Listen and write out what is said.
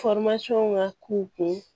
ŋa k'u kun